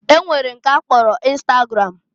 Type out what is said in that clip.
E nwere nke a kpọrọ ịnstagram.